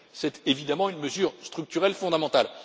C'est évidemment une mesure structurelle fondamentale.